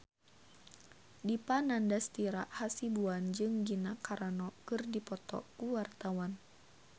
Dipa Nandastyra Hasibuan jeung Gina Carano keur dipoto ku wartawan